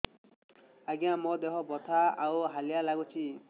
ଆଜ୍ଞା ମୋର ଦେହ ବଥା ଆଉ ହାଲିଆ ଲାଗୁଚି